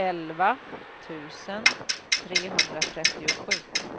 elva tusen trehundratrettiosju